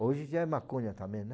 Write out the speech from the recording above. Hoje já é maconha também, né?